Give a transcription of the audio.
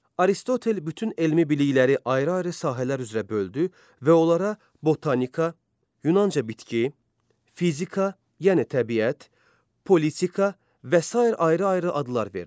Aristotel bütün elmi bilikləri ayrı-ayrı sahələr üzrə böldü və onlara botanika, yunanca bitki, fizika, yəni təbiət, politika və sair ayrı-ayrı adlar verdi.